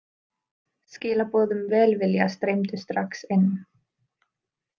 Skilaboð um velvilja streymdu strax inn.